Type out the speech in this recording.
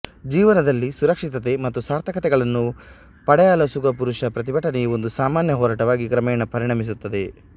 ಜೀವನದಲ್ಲಿ ಸುರಕ್ಷಿತತೆ ಮತ್ತು ಸಾರ್ಥಕತೆಗಳನ್ನು ಪಡೆಯಲೋಸುಗ ಪುರುಷ ಪ್ರತಿಭಟನೆ ಒಂದು ಸಾಮಾನ್ಯ ಹೋರಾಟವಾಗಿ ಕ್ರಮೇಣ ಪರಿಣಮಿಸುತ್ತದೆ